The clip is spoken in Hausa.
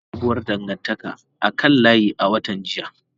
Na fara sabuwar dangantaka a kan layi a watan jiya.